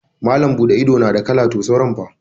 Malam buɗe ido na da kala to sauran fa?